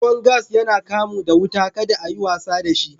Ruwan gas yana kamu da wuta, ka da a yi wasa da shi.